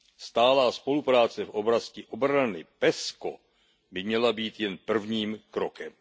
Stálá spolupráce v oblasti obrany PESCO by měla být jen prvním krokem.